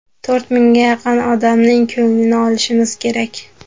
To‘rt mingga yaqin odamning ko‘nglini olishimiz kerak.